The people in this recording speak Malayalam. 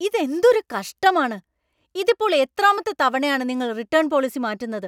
ഇതെന്തൊരു കഷ്ടമാണ്! ഇതിപ്പോൾ എത്രാമത്തെ തവണയാണ് നിങ്ങൾ റിട്ടേൺ പോളിസി മാറ്റുന്നത്.